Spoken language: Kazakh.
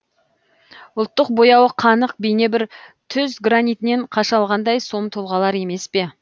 ұлттық бояуы қанық бейне бір түз гранитінен қашалғандай сом тұлғалар емес пе